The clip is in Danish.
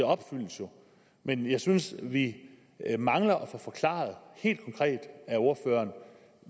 opfyldes jo men jeg synes at vi mangler at få forklaret helt konkret af ordføreren